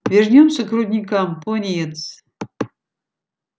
вернёмся к рудникам пониетс